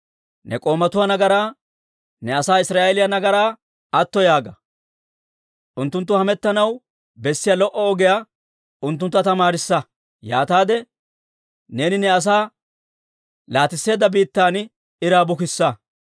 Ne k'oomatuwaa nagaraa, ne asaa Israa'eeliyaa nagaraa atto yaaga. Unttunttu hamettanaw bessiyaa lo"o ogiyaa unttuntta tamaarissa; yaataade neeni ne asaa laatisseedda biittan iraa bukissa.